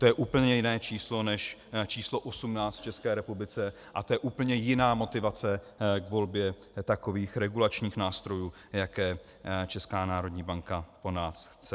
To je úplně jiné číslo než číslo 18 v České republice a to je úplně jiná motivace k volbě takových regulačních nástrojů, jaké Česká národní banka po nás chce.